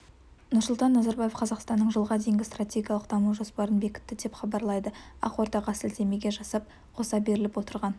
нұрсұлтан назарбаев қазақстанның жылға дейінгі стратегиялық даму жоспарын бекітті деп хабарлайды ақордаға сілтеме жасап қоса беріліп отырған